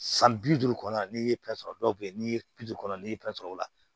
San bi duuru kɔnɔna na n'i ye pɛrɛn sɔrɔ dɔw bɛ yen n'i ye pikiri kɔnɔ n'i ye pɛrɛn sɔrɔ o la